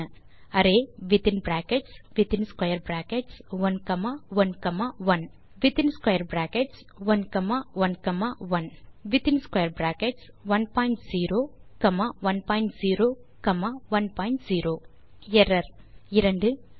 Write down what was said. array within brackets within square brackets 1 comma 1 comma 1 within square brackets 1 comma 1 comma 1 within square brackets 1 point 0 comma 1 point 0 comma 1 point 0 error 2